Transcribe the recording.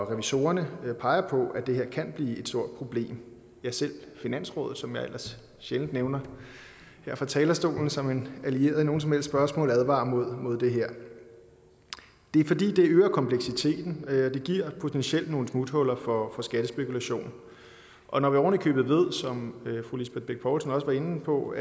revisorer peger på at det her kan blive et stort problem ja selv finansrådet som jeg ellers sjældent nævner her fra talerstolen som en allieret i nogen som helst spørgsmål advarer imod det her det er fordi det øger kompleksiteten og det giver potentielt nogle smuthuller for for skattespekulation og når vi oven i købet ved som fru lisbeth bech poulsen også var inde på